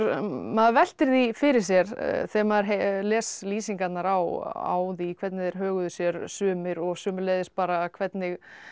maður veltir því fyrir sér þegar maður les lýsingarnar á því hvernig þeir höguðu sér sumir og sömuleiðis bara hvernig